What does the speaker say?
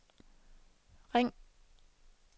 ring